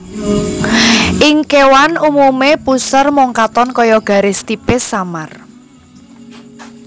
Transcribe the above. Ing kéwan umumé puser mung katon kaya garis tipis samar